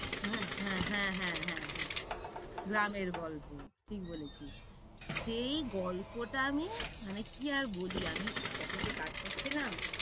হ্যাঁ হ্যাঁ হ্যাঁ হ্যাঁ, গ্রামে গল্প ঠিক বলেছিস। সেই গল্পটা আমি মানে কি আর বলি আমি office এ কাজ করছিলাম